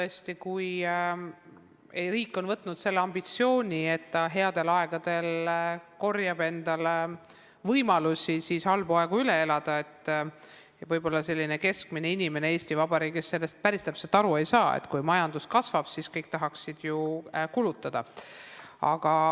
Tõesti, kui riigil on see ambitsioon, et ta headel aegadel kogub võimalusi halbu aegu üle elada, siis võib-olla selline keskmine inimene Eesti Vabariigis sellest päris täpselt aru ei saa, sest kui majandus kasvab, siis kõik tahaksid ju kulutada.